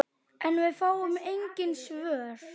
En fáum engin svör.